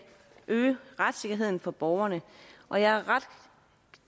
øge retssikkerheden for borgerne og jeg er ret